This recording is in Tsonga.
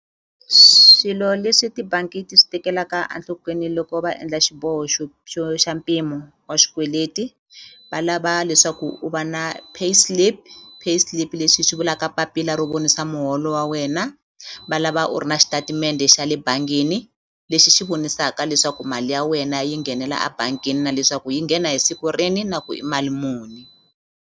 Swilo leswi tibangi ti swi tekelaka a nhlokweni loko va endla xiboho xo xo xa mpimo wa xikweleti va lava leswaku u va na pay slip, pay slip leswi hi swi vulaka papila ro vonisa muholo wa wena va lava u ri na xitatimende xa le bangini lexi xi vonisaka leswaku mali ya wena yi nghenela a bangini na leswaku yi nghena hi siku rini na ku i mali muni.